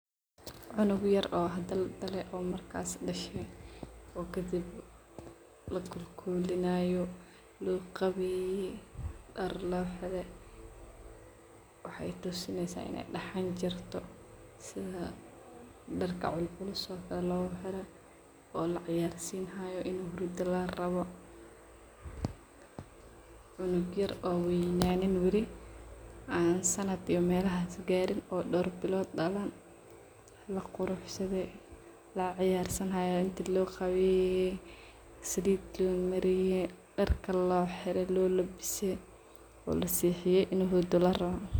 cunug yaar oo hada ladale oo markaas dashe oo kadib lakolkolinayo loo qaweye daar loo xire waxay tusinaysa inay daxaan jirto sidhaa darka culculus laa oga xiro oo laciyarsinayo inuu hurdo larawo cunug yaar oo waynaniy wali aan sanaad iyo melahaas qaarin oo door bilowod dalaan laquruxsadhe laciyarsinayo intii loo qaweeye saliid loo mariye darka loo xiire loo labise oo lasexiye inoo xurdo larawoo.